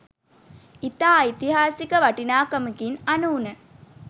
ඉතා ඓතිහාසික වටිනාකමකින් අනූන